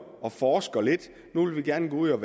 forsker lidt nu vil vi gerne gå ud og